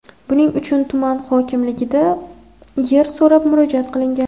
Buning uchun tuman hokimligidan yer so‘rab murojaat qilingan.